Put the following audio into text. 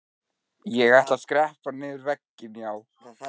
Ég ætla að skreppa niður vegginn, já.